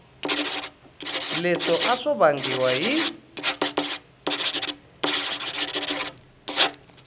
leswo a swi vangiwa hi